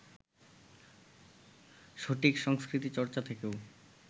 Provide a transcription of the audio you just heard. সঠিক সংস্কৃতিচর্চা থেকেও